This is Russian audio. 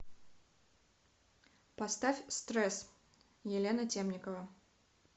поставь стресс елена темникова